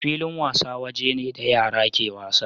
Filin wasa waje ne da yara ke wasa.